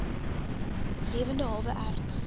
lewende hawe erts